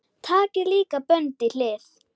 Takið líka bönd í hlið.